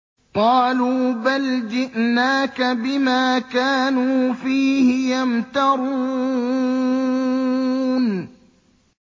قَالُوا بَلْ جِئْنَاكَ بِمَا كَانُوا فِيهِ يَمْتَرُونَ